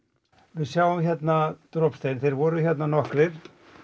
við sjáum hérna þeir voru hérna nokkrir